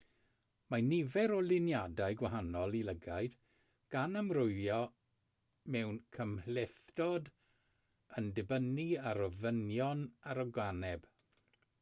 mae nifer o luniadau gwahanol i lygaid gan amrywio mewn cymhlethdod yn dibynnu ar ofynion yr organeb